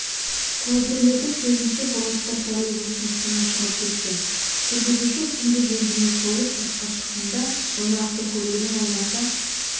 куәгерлердің сөзінше бұрылыста троллейбустың сымы шығып кеткен жүргізуші сымды жөндемек болып сыртқа шыққанда оны автокөлігінің айнасы